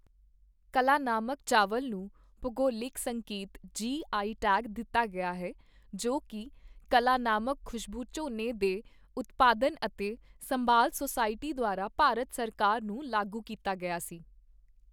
ਕਲਾਨਾਮਕ ਚਾਵਲ ਨੂੰ ਭੂਗੋਲਿਕ ਸੰਕੇਤ ਜੀ ਆਈ ਟੈਗ ਦਿੱਤਾ ਗਿਆ ਹੈ ਜੋ ਕਿ ਕਲਾਨਾਮਕ ਖੁਸ਼ਬੂ ਝੋਨੇ ਦੇ ਉਤਪਾਦਨ ਅਤੇ ਸੰਭਾਲ ਸੁਸਾਇਟੀ ਦੁਆਰਾ ਭਾਰਤ ਸਰਕਾਰ ਨੂੰ ਲਾਗੂ ਕੀਤਾ ਗਿਆ ਸੀ।